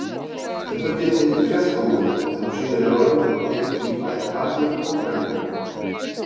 Embættið heitir fjallkóngur en á síðari árum hafa gegnt því bæði karlmenn og kvenmenn.